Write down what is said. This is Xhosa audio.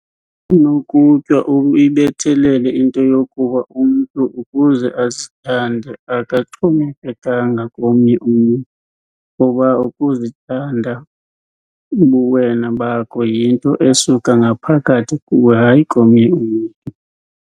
Nokutywa uyibethelele into yokuba umntu ukuze azithande akaxhomekekanga komnye umntu, kuba ukuzithanda ubuwena bakho yinto esuka ngaphakathi kuwe hayi komnye umntu.